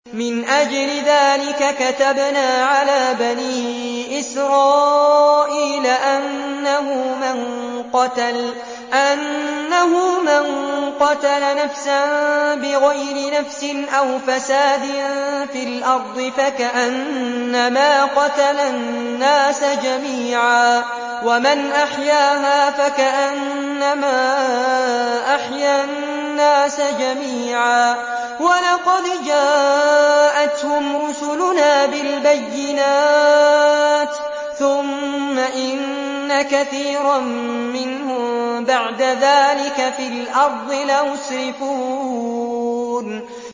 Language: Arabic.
مِنْ أَجْلِ ذَٰلِكَ كَتَبْنَا عَلَىٰ بَنِي إِسْرَائِيلَ أَنَّهُ مَن قَتَلَ نَفْسًا بِغَيْرِ نَفْسٍ أَوْ فَسَادٍ فِي الْأَرْضِ فَكَأَنَّمَا قَتَلَ النَّاسَ جَمِيعًا وَمَنْ أَحْيَاهَا فَكَأَنَّمَا أَحْيَا النَّاسَ جَمِيعًا ۚ وَلَقَدْ جَاءَتْهُمْ رُسُلُنَا بِالْبَيِّنَاتِ ثُمَّ إِنَّ كَثِيرًا مِّنْهُم بَعْدَ ذَٰلِكَ فِي الْأَرْضِ لَمُسْرِفُونَ